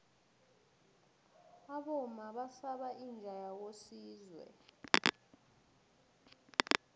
abomma basaba inja yakosizwe